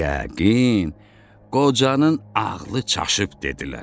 Yəqin, qocanın ağlı çaşıb, dedilər.